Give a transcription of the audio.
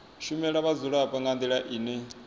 shumela vhadzulapo nga ndila ine